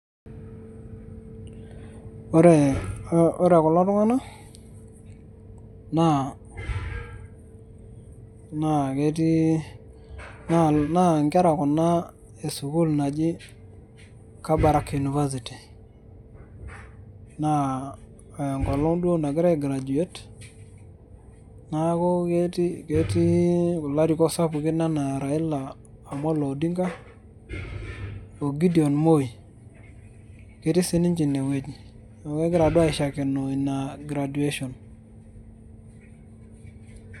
Ore kulo tung'anak, naa naa ketii naa inkera kuna esukuul naji Kabarak University. Naa enkolong' duo nagira ai graduate ,neeku ketii kulo arikok sapukin enaa Raila Amolo Odinga, o Gideon Moi, ketii sininche inewueji. Neeku egira duo aishakenoo ina graduation.